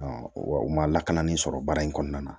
wa u ma lakana ni sɔrɔ baara in kɔnɔna na